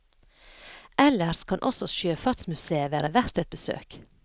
Ellers kan også sjøfartsmusèet være verdt et besøk.